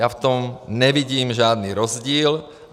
Já v tom nevidím žádný rozdíl.